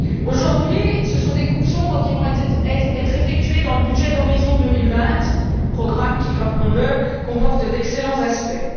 Aujourd'hui, ce sont des coupes sombres qui vont être effectuées dans le budget d'Horizon 2020, programme, qui rappelons le, comporte d'excellents aspects.